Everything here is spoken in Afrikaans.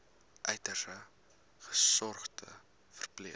uiters gesogde verpleër